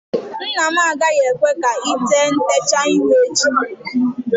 Nna m agaghị ekwe ka ị tee ntecha ihu echi